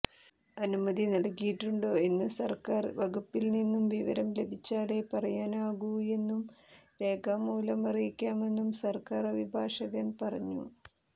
അനുമതി നൽകിയിട്ടുണ്ടോ എന്നു സർക്കാർ വകുപ്പിൽ നിന്നു വിവരം ലഭിച്ചാലേ പറയാനാകൂയെന്നും രേഖാമൂലം അറിയിക്കാമെന്നും സർക്കാർ അഭിഭാഷകൻ പറഞ്ഞു